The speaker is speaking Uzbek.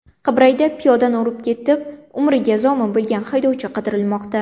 Qibrayda piyodani urib ketib, umriga zomin bo‘lgan haydovchi qidirilmoqda.